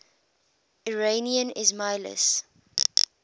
iranian ismailis